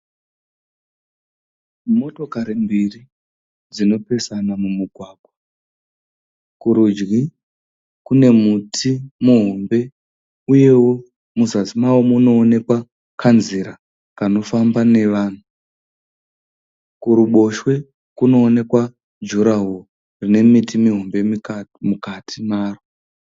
Motokari mbiri dzinopesana mumugwagwa. Kurudyi kune muti muhombe uyewo muzasi mawo munoonekwa kanzira kanofamba nevanhu. Kuruboshwe kunoonekwa jurawori rine miti mihombe mukati maro.